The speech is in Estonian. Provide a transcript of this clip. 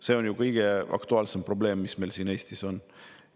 See on siis kõige aktuaalsem probleem, mis meil siin Eestis on!